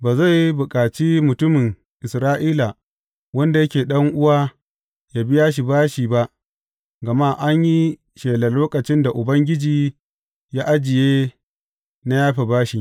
Ba zai bukaci mutumin Isra’ila wanda yake ɗan’uwa yă biya shi bashi ba, gama an yi shelar lokacin da Ubangiji ya ajiye na yafe bashi.